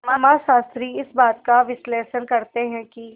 समाजशास्त्री इस बात का विश्लेषण करते हैं कि